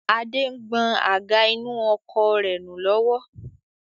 Adé ń gbọn àga inú ọkọ̀ rẹ nù lọ́wọ́